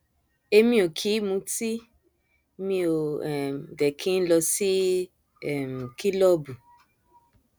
èmi ò kì í mutí mi ó um dé kí n n lọ sí um kìlọọbù